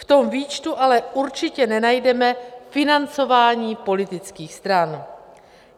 V tom výčtu ale určitě nenajdeme financování politických stran.